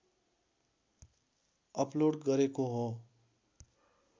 upload गरेको हो